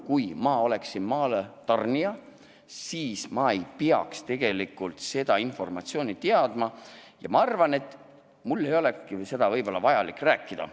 Kui ma oleksin Eestisse tarnija, siis ma ei peaks seda informatsiooni teadma, ja ma arvan, et mul ei olekski seda võib-olla vaja rääkida.